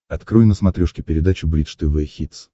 открой на смотрешке передачу бридж тв хитс